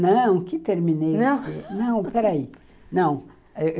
Não, que terminei... Não, peraí.